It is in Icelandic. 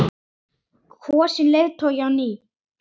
Kosinn leiðtogi á ný?